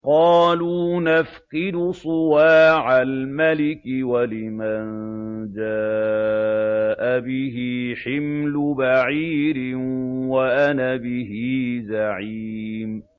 قَالُوا نَفْقِدُ صُوَاعَ الْمَلِكِ وَلِمَن جَاءَ بِهِ حِمْلُ بَعِيرٍ وَأَنَا بِهِ زَعِيمٌ